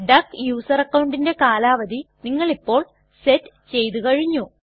duck user അക്കൌണ്ടിന്റെ കാലാവധി നിങ്ങളിപ്പോൾ സെറ്റ് ചെയ്തു കഴിഞ്ഞു